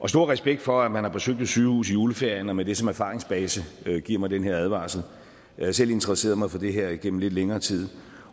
stor respekt for at man har besøgt et sygehus i juleferien og med det som erfaringsbase giver mig den her advarsel jeg har selv interesseret mig for det her igennem lidt længere tid